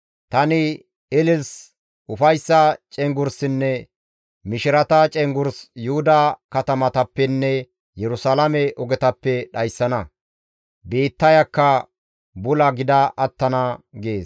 Tani ilisi, ufayssa cenggurssinne mishirata cenggurs Yuhuda katamatappenne Yerusalaame ogetappe dhayssana; biittayakka bula gida attana» gees.